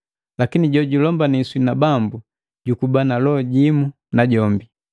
Lakini jojulombini na Bambu jukuba na loho jimu najombi.